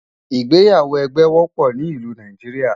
ìgbéyàwó ẹgbẹ wópò ní ìlú Nàìjíríà